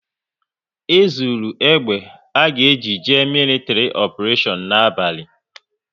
E zuru egbe à ga eji jee militri oparetion n'abalị